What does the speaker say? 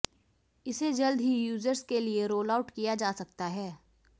इसे जल्द ही यूजर्स के लिए रोलआउट किया जा सकता है